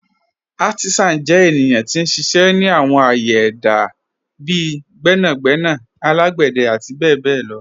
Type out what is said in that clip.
Àrtísán jẹ́ ènìyàn tí n ṣiṣẹ́ ni àwọn ạ̀yẹ̀ èdá bíì gbẹ̀nàgbẹ̀nà alágbẹ̀dẹ̀ àti bẹ̀bẹ̀ lọ.